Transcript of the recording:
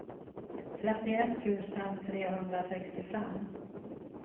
trettioett tusen trehundrasextiofem